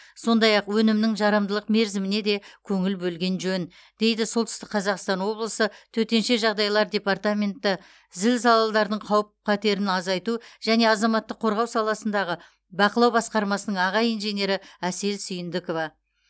сондай ақ өнімнің жарамдылық мерзіміне де көңіл бөлген жөн дейді солтүстік қазақстан облысы төтенше жағдайлар департаменті зілзалалардың қауіп қатерін азайту және азаматтық қорғау саласындағы бақылау басқармасының аға инженері әсел сүйіндікова